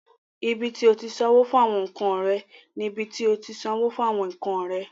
Ibi tí o ti sanwó fún àwọn nkan rẹ ni ibi tí o ti sanwó fún àwọn nkan rẹ.